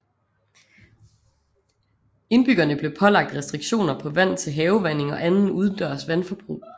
Indbyggerne blev pålagt restriktioner på vand til havevanding og anden udendørs vandforbrug